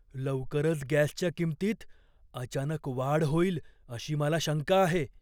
लवकरच गॅसच्या किंमतीत अचानक वाढ होईल अशी मला शंका आहे.